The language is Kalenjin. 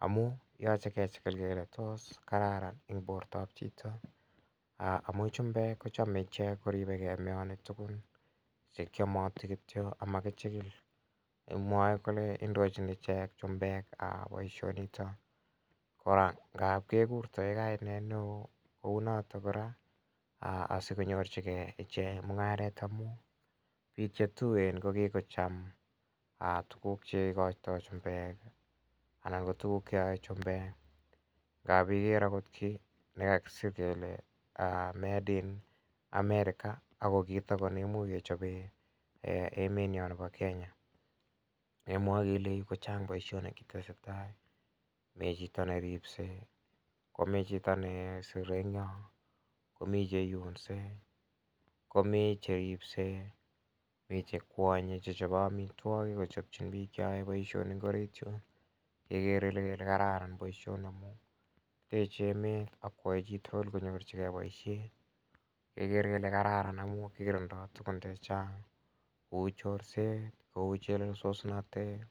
amu yache kechikil kele tos kararan eng' porto ap chito? Amu chumbek ko chame ichek kochame koripegei meyani tugun che kiamati kityo ama kichikil. Mwae kele indochin ichek chumbek poishonitok. Kora, ngap kekurtae kainet ne oo kou notok kora asikonyorchigei ine mung'aret amun pik che tuen ko kikocham tuguk che ikaitai chumbek anan ko tuguk che yae chumbek. Ngap iker akot ki ne kakisir kele 'made in America' ako kiit nitok ko ne imuch kechope emet nyo nepo Kenya. Kemwae kele ko chang' poishonik che kikochopta any, mi chito ne ripsei, mi chito ne sire eng' yo, ko mi che iunse, komi che ripsei mi che kwanye, che chope amitwogik kochopchin piik che yae poishonik en orit yun, kekere kele kararan poishoni. Teche emet ak koyae chi tugul konyor poishet. Kekere kele kararan amun kikirindai tugun che chang' kou chorset, kou chelesosnatet.